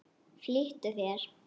Flýttu þér.